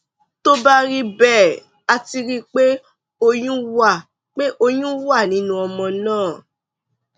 tó bá rí bẹẹ a ti rí i pé oyún wà pé oyún wà nínú ọmọ náà